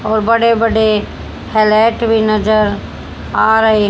और बड़े बड़े फ्लैट भी नजर आ रहे।